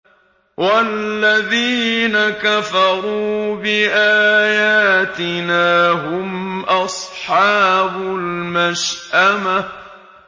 وَالَّذِينَ كَفَرُوا بِآيَاتِنَا هُمْ أَصْحَابُ الْمَشْأَمَةِ